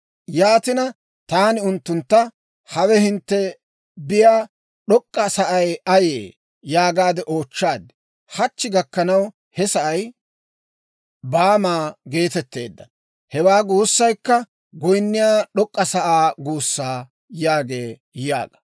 Yaatina, taani unttuntta, Hawe hintte biyaa d'ok'k'a sa'ay ayee? yaagaade oochchaad. Hachchi gakkanaw he sa'ay Baama geetettee; hewaa guusaykka goyinniyaa d'ok'k'a sa'aa guusaa› » yaagee yaaga.